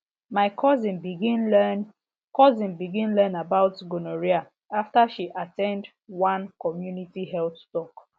my cousin begin learn cousin begin learn about gonorrhea after she at ten d one community health talk